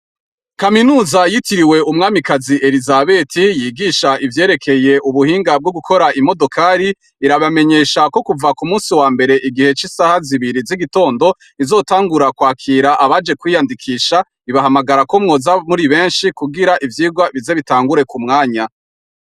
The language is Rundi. Kaminuza yitiriwe umwamikazi elisabeti yigisha ivyerekeye ubuhinga bwo gukora imodokali irabamenyesha ko kuva ku musi wa mbere igihe c'isaha zibiri z'igitondo izotangura kwakira abaje kwiyandikisha ibahamagara ko mwoza muri benshi kugira ivyirwa bize bitangure ku mwanya.